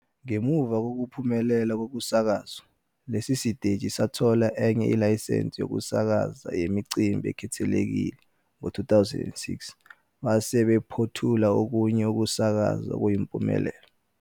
Ngemuva kokuphumelela kokusakazwa, lesi siteshi sathola enye ilayisensi yokusakaza yemicimbi ekhethekile ngo-2006 base bephothula okunye ukusakaza okuyimpumelelo.